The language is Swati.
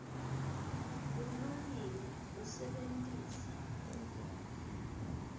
bulungile usebentise